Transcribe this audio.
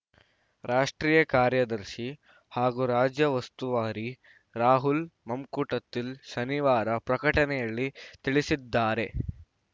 ರಾಷ್ಟ್ರೀಯ ಕಾರ್ಯದರ್ಶಿ ಹಾಗೂ ರಾಜ್ಯ ಉಸ್ತುವಾರಿ ರಾಹುಲ್‌ ಮಮ್ಕೂಟಥಿಲ್‌ ಶನಿವಾರ ಪ್ರಕಟಣೆಯಲ್ಲಿ ತಿಳಿಸಿದ್ದಾರೆ